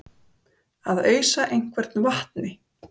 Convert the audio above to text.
Að ausa einhvern vatni